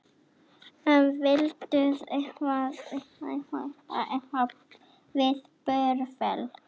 Vindmyllur Landsvirkjunar á Hafinu norðan við Búrfell.